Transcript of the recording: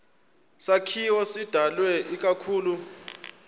sakhiwo sidalwe ikakhulu